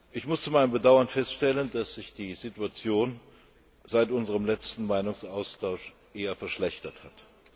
Ich muss zu meinem Bedauern feststellen, dass sich die Situation seit unserem letzten Meinungsaustausch eher verschlechtert hat.